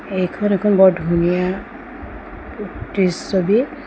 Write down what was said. এইখন এখন বৰ ধুনীয়া উ দৃ ছবি।